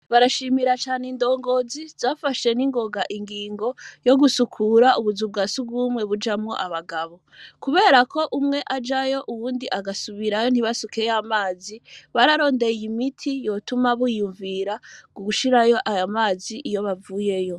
Barashimira cane indongozi zafashe n'ingoga ingingo yo gusukura ubuzu bwa si gumwe bujamwo abagabo, kubera ko umwe ajayo uwundi agasubirayo ntibasukeyo amazi bararondeye imiti yotuma biyumvira ku gushirayo ayo amazi iyo bavuyeyo.